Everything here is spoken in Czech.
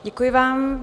Děkuji vám.